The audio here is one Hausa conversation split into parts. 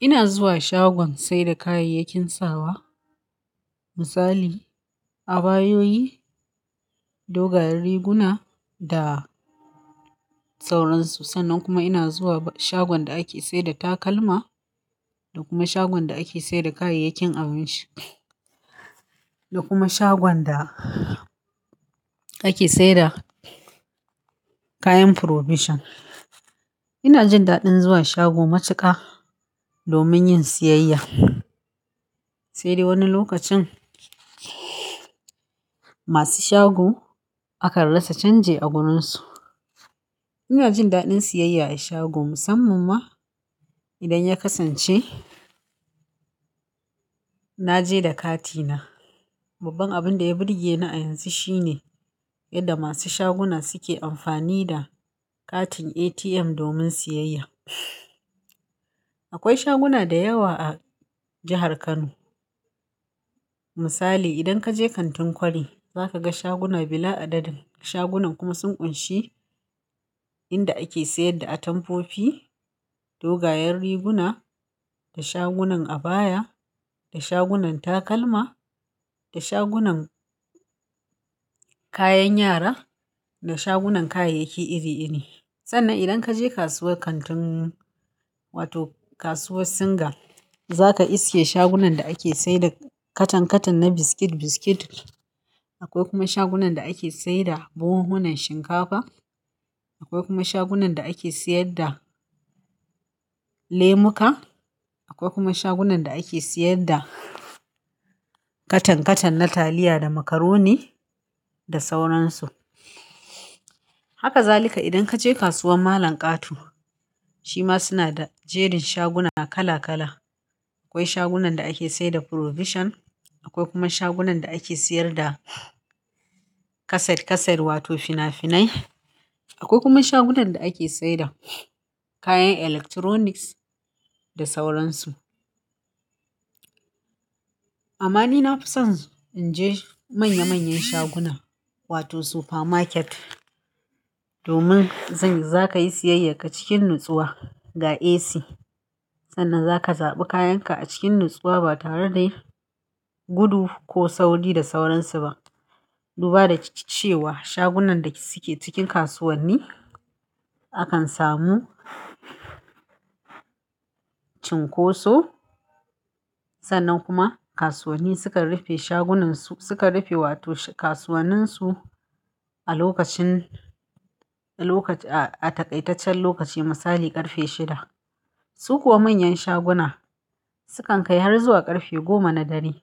Ina zuwa shagon saida kayayyakin sawa misali a bayoyi, dogayen riguna da sauransu. Sannan kuma ina zuwa shagon da ake saida takalma da kuma shagon da ake saida kayayyakin abinci da kuma shagon da ake saida kayan provision. Ina jin daɗin zuwa shago matuka domin yin siyayya, sai dai wani lokacin masu shago akan rasa canje a gurinsu. Ina jin daɗin siyayya a shago musamman ma idan ya kasance na je da kati na. Babban abin da ya burge ni a yanzu shine yadda masu shaguna suke amfani da katin ATM domin siyayya. Akwai shaguna da yawa a jahar Kano misali idan kaje kantin kwari zaka ga shaguna bila adadin. Shagunan kuma sun ƙunshi inda ake sayar da atamfofi, dogayen riguna da shagunan abaya da shagunan takalma da shagunan kayan yara da shagunan kayayyaki iri iri. Sannan idan kaje kasuwar kantin wato kasuwar Singa zaka iske shagunan da ake saida katan katan na biskit-biskit. Akwai kuma shagunan da ake saida buhunhunan shinkafa. Akwai kuma shagunan da ake sayar da lemuka. Akwai kuma shagunan da ake sayar da katan katan na taliya da macaroni da sauransu. Haka zalika idan kaje kasuwar malam Kato shima suna da jerin shaguna kala kala. Akwai shagunan da ake saida provision, akwai kuma shagunan da ake sayar da kaset kaset wato fina finai. Akwai kuma shagunan da ake saida kayan electronics da sauransu. Amma ni na fi son inje manya manyan shaguna wato super market domin zanyi-- za kayi siyayya ka cikin natsuwa ga AC. Sannan zaka zaɓi kayan ka a cikin natsuwa ba tare da gudu ko sauri da sauransu ba. Duba da cewa shagunan da suke cikin kasuwanni akan samu cinkoso sannan kuma kasuwanni sukan rufe shagunan su, sukan rufe wato kasuwanin su a lokacin, a lok-- a, a takaitaccen lokaci misali ƙarfe shida. Su kuwa manyan shaguna sukan kai har zuwa ƙarfe goma na dare.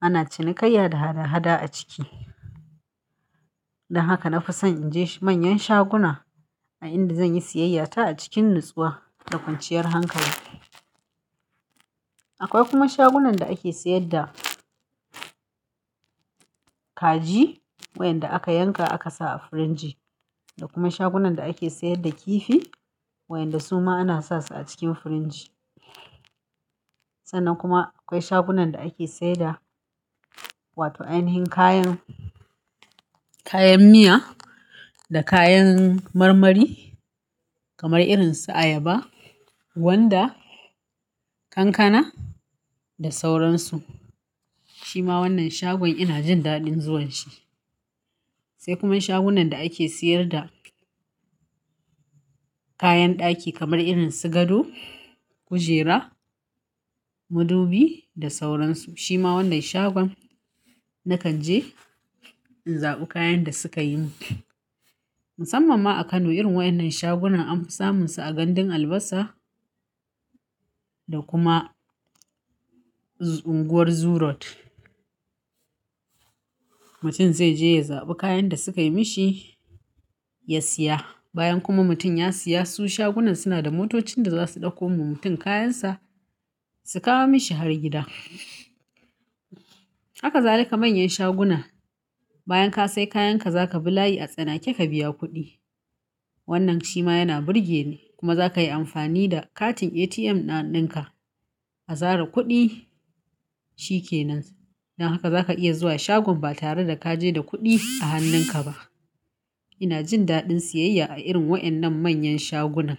Ana cinikayya da hada hada a ciki. Dan haka na fi son inje manyan shaguna a inda zan yi siyayya ta a cikin natsuwa da kwanciyar hankali. Akwai kuma shagunan da ake sayar da kaji wayanda aka yanka aka sa a firinji da kuma shagunan da ake sayar da kifi wayanda suma ana sa su a cikin firinji. Sannan kuma akwai shagunan da ake saida wato ainihin kayan, kayan miya da kayan marmari kamar irin su ayaba, gwanda, kankana da sauransu. Shima wannan shagon ina jin daɗin zuwan shi. Sai kuma shagunan da ake sayar da kayan ɗaki kamar irin su gado, kujera, mudubi da sauransu. Shima wannan shagon nakan je in zaɓi kayan da suka yi mun. Musamman ma a Kano irin waɗannan shagunan anfi samun su a gandun Albasa da kuma unguwar Zurot. Mutum zai je ya zaɓi kayan da suka yi mishi ya siya. Bayan kuma mutum ya siya su shagunan suna da motocin da za su ɗauko ma mutum kayansa su kawo mishi har gida. Haka zalika manyan shaguna bayan ka sai kayan ka, za kabi layi a tsanake ka biya kuɗi. Wannan shima yana burge ni kuma za kayi amfani da katin ATM na, na, na dinka a zara kuɗi, shi ke nan. Dan haka zaka iya zuwa shagon ba tare da ka je da kuɗi a hannun ka ba. Ina jin daɗin siyayya a irin waɗannan manyan shagunan.